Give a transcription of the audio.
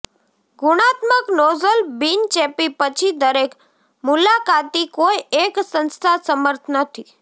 ગુણાત્મક નોઝલ બિનચેપી પછી દરેક મુલાકાતી કોઇ એક સંસ્થા સમર્થ નથી